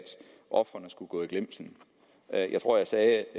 ofrene skulle gå i glemslen jeg jeg tror jeg sagde